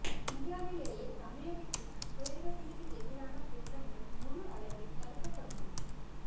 இந்தியாவிலேயே தமிழகத்தில் தான் குழந்தைகளுக்கு எதிரான குற்றங்கள் முழு அளவில் தடுக்கப்பட்டுள்ளது